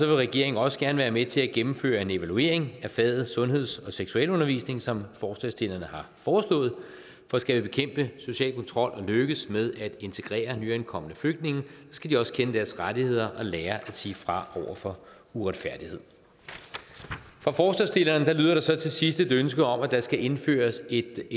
vil regeringen også gerne være med til at gennemføre en evaluering af faget sundheds og seksualundervisning som forslagsstillerne har foreslået for skal vi bekæmpe social kontrol og lykkes med at integrere nyankomne flygtninge skal de også kende deres rettigheder og lære at sige fra over for uretfærdighed fra forslagsstillerne lyder der så til sidst et ønske om at der skal indføres et